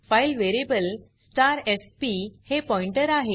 file variable fp हे pointer आहे